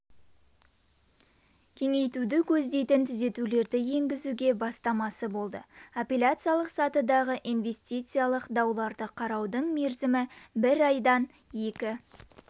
кеңейтуді көздейтін түзетулерді енгізуге бастамашы болды апелляциялық сатыдағы инвестициялық дауларды қараудың мерзімі бір айдан екі